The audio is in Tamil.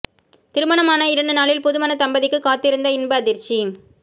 திருமணமான இரண்டு நாளில் புதுமண தம்பதிக்கு காத்திருந்த இன்ப அதிர்ச்சி